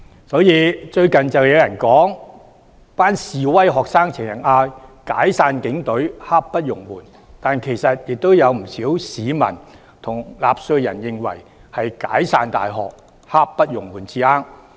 所以，最近有人說，示威學生經常高呼"解散警隊，刻不容緩"，但其實不少市民和納稅人均認為是"解散大學，刻不容緩"才對。